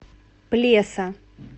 плеса